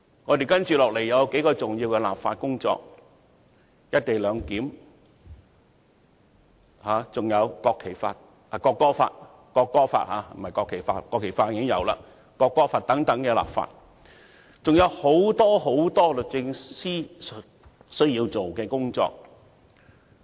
律政司接下來需要處理數項重要的立法工作，包括"一地兩檢"和《國旗法》——不，是《國歌法》才對，《國旗法》的本地立法工作早已完成——《國歌法》的本地立法工作，以及很多其他工作。